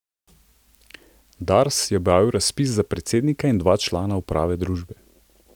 Dars je objavil razpis za predsednika in dva člana uprave družbe.